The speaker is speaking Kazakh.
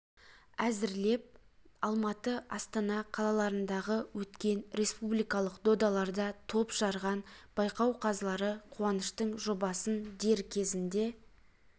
әзірлеп алматы астана қалаларындағы өткен республикалық додаларда топ жарған байқау қазылары қуаныштың жобасын дер кезінде